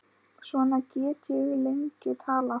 Svona get ég lengi talið.